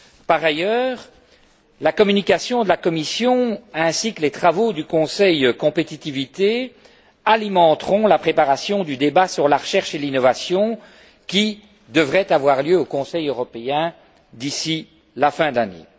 Par ailleurs, la communication de la Commission ainsi que les travaux du Conseil Compétitivité alimenteront la préparation du débat sur la recherche et l'innovation qui devrait avoir lieu au Conseil européen d'ici la fin de l'année.